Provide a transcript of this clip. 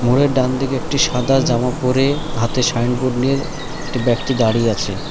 মোড়ের ডান দিকে একটি সাদা জামা পরে হাতে সাইন বোর্ড নিয়ে একটি ব্যক্তি দাঁড়িয়ে আছে।